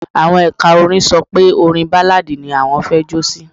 Àwọn ẹ̀ka Music sọ pé orin Báláadì ni wọn fẹ́ jó sí.